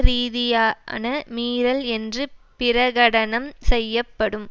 ரீதியான மீறல் என்று பிரகடனம் செய்யப்படும்